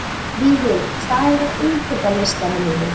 Vigur, hvað er á innkaupalistanum mínum?